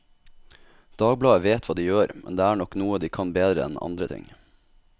Dagbladet vet hva de gjør, men det er nok noe de kan bedre enn andre ting.